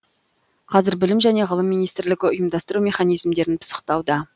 қазір білім және ғылым министрлігі ұйымдастыру механизмдерін пысықтауда